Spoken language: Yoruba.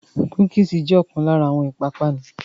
Cookies jẹ̀ ọkàn lára àwọn ìpápánu.